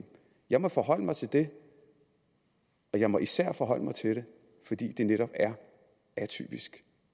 jeg må forholde mig til det og jeg må især forholde mig til det fordi det netop er atypisk